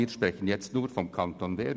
Wir sprechen hier nur vom Kanton Bern.